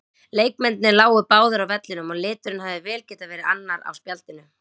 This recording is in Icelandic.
Leikmennirnir lágu báðir á vellinum og liturinn hefði vel getað verið annar á spjaldinu.